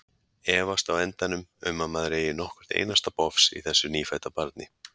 Efast á endanum um að maður eigi nokkurt einasta bofs í þessu nýfædda barni.